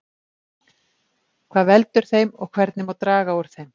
hvað veldur þeim og hvernig má draga úr þeim